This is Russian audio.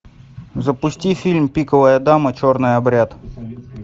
запусти фильм пиковая дама черный обряд